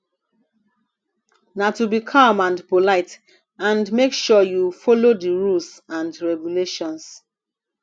na to be calm and polite and make sure you follow di rules and regulations